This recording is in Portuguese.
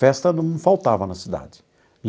Festa não faltava na cidade.